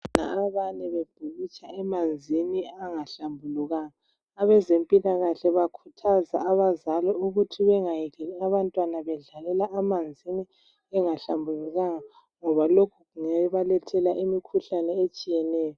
Abantwana abane bebhukutsha emanzini angahlambulukanga abezempilakaahle bakhuthaza abazali ukuthi bengayekeli abantwana bedlale amanzini engahlambulukanga ngoba lokhu yikho okubalethela imikhuhlane etshiyeneyo.